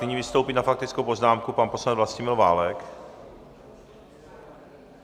Nyní vystoupí na faktickou poznámku pan poslanec Vlastimil Válek.